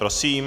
Prosím.